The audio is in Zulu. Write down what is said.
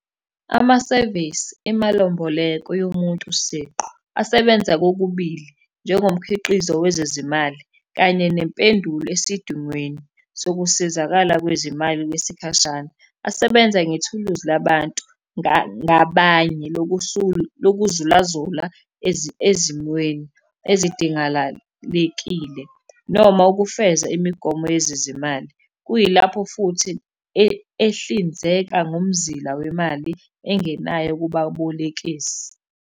Amasevisi emalo mboleko yomuntu siqu, asebenza kokubili njengomkhiqizo wezezimali, kanye nempendulo esidingweni sokusizakala kwezimali kwesikhashana. Asebenza ngethuluzi labantu ngabanye lokuzulazula ezimweni ezidingalalekile noma ukufeza imigomo yezezimali. Kuyilapho futhi ehlinzeka ngomzila wemali engenayo kubabolekisi.